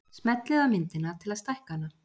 Smellið á myndina til að stækka hana.